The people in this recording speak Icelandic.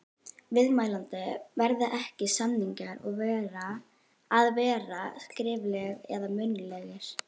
Viðmælandi: Verða ekki, samningar að vera skriflegir eða munnlegir?